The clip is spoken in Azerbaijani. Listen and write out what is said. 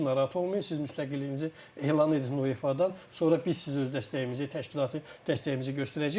narahat olmayın, siz müstəqilliyinizi elan edin UEFA-dan, sonra biz sizə öz dəstəyimizi, təşkilatı dəstəyimizi göstərəcəyik.